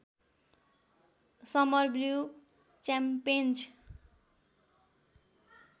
summer blue च्याम्पेन्ज